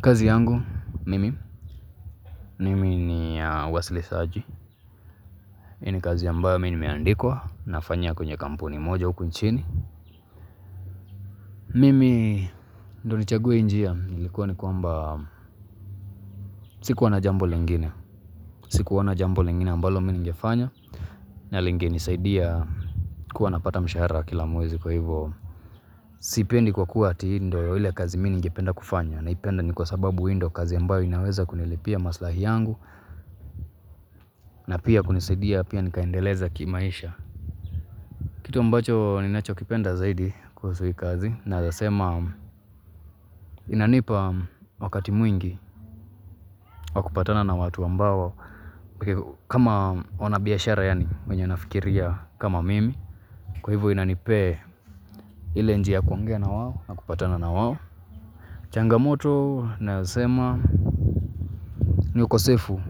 Kazi yangu, mimi, mimi ni ya uwasilishaji. Hii ni kazi ambayo mimi meandikwa nafanya kwenye kampuni moja huku nchini. Mimi, ndiposa nichague njia hii, ilikuwa ni kwamba, sikuwa na jambo lingine. Sikuona jambo lingine ambalo mimi ningefanya. Na linginenisaidia kuwa napata mshahara kila muwezi kwa hivyo. Sipendi kwa kuwa hii ndiyo ile kazi mimi ningependa kufanya. Naipenda ni kwa sababu hii ndiyo kazi ambayo inaweza kunilipia maslahi yangu. Na pia kunisaidia pia nikaendeleza kimaisha. Kitu ambacho nakipenda zaidi kuhusu hii kazi naweza sema inanipa wakati mwingi wa kupatana na watu ambao. Kama wanabiashara yaani wenye wanafikiria kama mimi kwa hivyo inanipa ile njia ya kuangea na wao na kupatana na wao. Changamoto na zasema ni ukosefu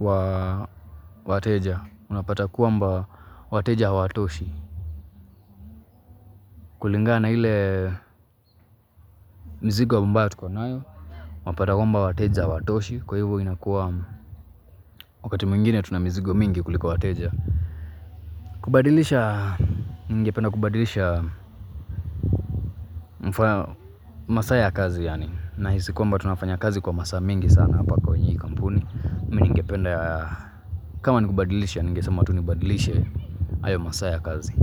wa wateja. Unapata kwamba wateja hawatoshi. Kulingana na ile mzigo mbayo tukonayo unapata kwamba wateja hawatoshi. Kwa hivyo inakuwa wakati mwingine tuna mizigo mingi kuliko wateja. Kubadilisha, ningependa kubadilisha masaa ya kazi yaani nahisi kwamba tunafanya kazi kwa masaa mingi sana hapa kwenye hii kampuni mimi ningependa kama ni kubadilisha, ningesema tu nibadilishe hayo masaa ya kazi.